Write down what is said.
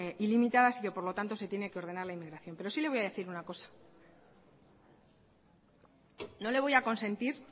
ilimitadas y que por lo tanto se tiene que ordenar la inmigración pero sí le voy a decir una cosa no le voy a consentir